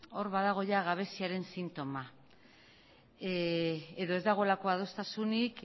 hor badago ia gabeziaren sintoma edo ez dagoelako adostasunik